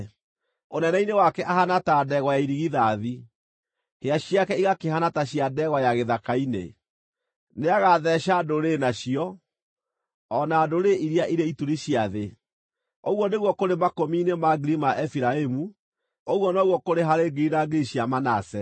Ũnene-inĩ wake ahaana ta ndegwa ya irigithathi; hĩa ciake igakĩhaana ta cia ndegwa ya gĩthaka-inĩ. Nĩagatheeca ndũrĩrĩ na cio, o na ndũrĩrĩ iria irĩ ituri cia thĩ. Ũguo nĩguo kũrĩ makũmi-inĩ ma ngiri ma Efiraimu; ũguo noguo kũrĩ harĩ ngiri na ngiri cia Manase.”